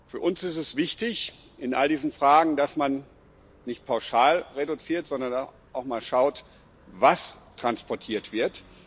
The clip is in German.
Für uns ist es in all diesen Fragen wichtig, dass man nicht pauschal reduziert, sondern auch mal schaut, was transportiert wird.